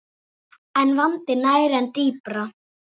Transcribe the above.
En vandinn nær enn dýpra.